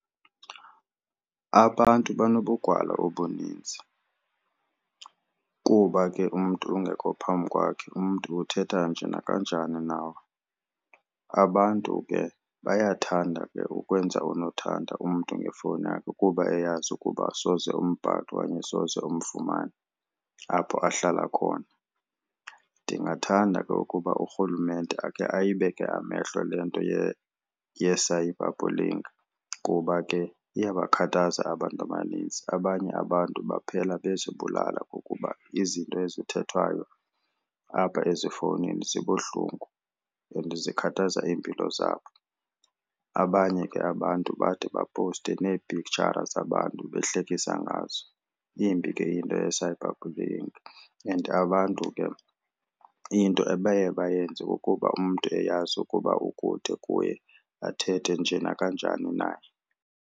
Abantu banobugwala obuninzi kuba ke umntu ungekho phambi kwakhe umntu uthetha nje nakanjani nawe. Abantu ke bayathanda ke ukwenza unothanda umntu ngefowuni yakhe kuba eyazi ukuba soze umbhaqe okanye soze umfumane apho ahlala khona. Ndingathanda ke ukuba uRhulumente ake ayibeke amehlo le nto ye-cyberbullying kuba ke iyabakhathaza abantu abanintsi. Abanye abantu baphela bezibulala ngokuba izinto ezithethwayo apha ezifowunini zibuhlungu and zikhathaza iimpilo zabo. Abanye ke abantu bade bapowuste neepiktshara abantu behlekisa ngazo. Imbi ke into ye-cyberbullying and abantu ke into abaye bayenze kukuba umntu eyazi ukuba ukude kuye athethe njee nakanjani naye.